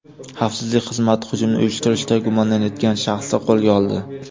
Xavfsizlik xizmati hujumni uyushtirishda gumonlanayotgan shaxsni qo‘lga oldi.